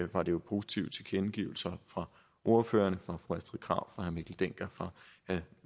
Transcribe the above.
var det jo positive tilkendegivelser fra ordførerne fra fru astrid krag fra herre mikkel dencker fra